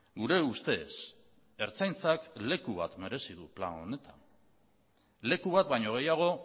gure ustez ertzaintzak leku bat merezi du plan honetan leku bat baino gehiago